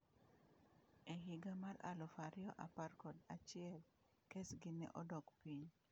"""E higa mar aluf ariyo apar kod achiel, kes gi ne dok piny."